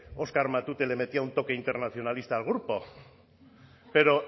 oskar matute le metía un toque internacionalista al grupo pero